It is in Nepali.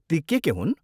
ती के के हुन्?